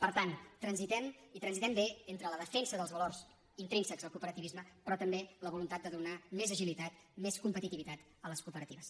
per tant transitem i transitem bé entre la defensa dels valors intrínsecs del cooperativisme però també la voluntat de donar més agilitat més competitivitat a les cooperatives